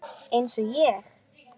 Eins og ég?